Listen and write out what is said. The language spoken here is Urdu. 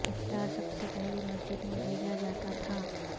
افطار سب سے پہلے مسجد میں بھیجا جاتا تھا